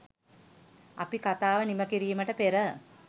අපි කතාව නිම කිරීමට පෙර